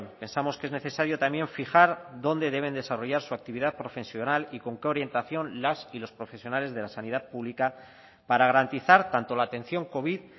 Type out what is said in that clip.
pensamos que es necesario también fijar dónde deben desarrollar su actividad profesional y con qué orientación las y los profesionales de la sanidad pública para garantizar tanto la atención covid